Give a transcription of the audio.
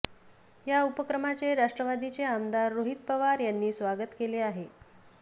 या उपक्रमाचे राष्ट्रवादीचे आमदार रोहित पवार यांनी स्वागत केले आहे